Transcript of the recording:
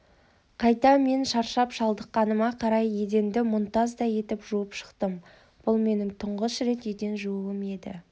қайта мен шаршап-шалдыққаныма қарамай еденді мұнтаздай етіп жуып шықтым бұл менің тұңғыш рет еден жууым еді